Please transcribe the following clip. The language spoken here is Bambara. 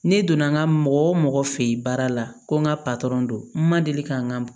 Ne donna n ka mɔgɔ o mɔgɔ fɛ ye baara la ko n ka don n ma deli ka n ka